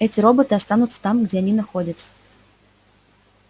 эти роботы останутся там где они находятся